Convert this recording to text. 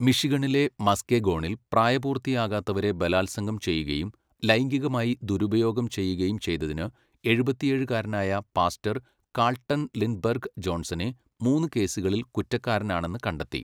മിഷിഗണിലെ മസ്കെഗോണിൽ, പ്രായപൂർത്തിയാകാത്തവരെ ബലാത്സംഗം ചെയ്യുകയും, ലൈംഗികമായി ദുരുപയോഗം ചെയ്യുകയും ചെയ്തതിന് എഴുപത്തിയേഴുകാരനായ പാസ്റ്റർ കാൾട്ടൺ ലിൻഡ്ബെർഗ് ജോൺസനെ, മൂന്ന് കേസുകളിൽ കുറ്റക്കാരനാണെന്ന് കണ്ടെത്തി.